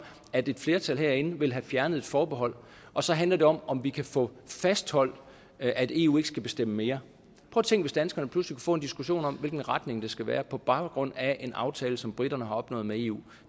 at et flertal herinde vil have fjernet et forbehold og så handler det om om vi kan få fastholdt at eu ikke skal bestemme mere tænk hvis danskerne pludselig kunne få en diskussion om hvilken retning det skal være på baggrund af en aftale som briterne har opnået med eu